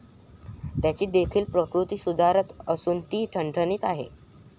त्याची देखील प्रकृती सुधारत असून ती ठणठणीत आहे.